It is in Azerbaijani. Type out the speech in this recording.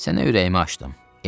Sənə ürəyimi açdım.